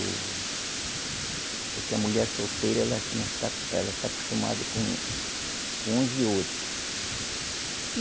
Porque a mulher solteira, ela não está, ela está acostumada com, com uns e outro. E